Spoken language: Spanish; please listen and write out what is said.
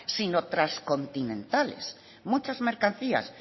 sino transcontinentales muchas mercancías